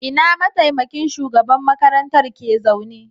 Ina mataimakin shugaban makarantar ke zaune?